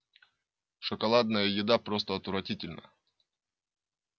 шоколадная еда просто отвратительна